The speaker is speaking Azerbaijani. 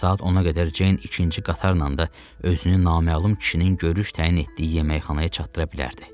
Saat 10-a qədər Ceyn ikinci qatarla da özünü naməlum kişinin görüş təyin etdiyi yeməkxanaya çatdıra bilərdi.